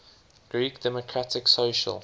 greek democratic social